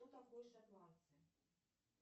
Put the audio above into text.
кто такой шотландцы